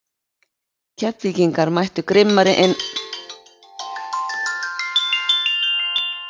Keflvíkingarnir mættu grimmari inn í seinni hálfleikinn og voru ógnandi fyrstu mínúturnar.